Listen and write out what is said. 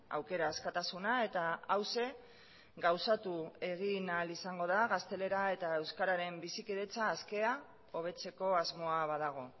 aukera askatasuna eta hauxe gauzatu egin ahal izango da gaztelera eta euskararen bizikidetza askea hobetzeko asmoa badago